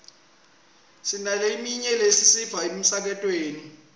sinaleminye lesiyiva emsakatweni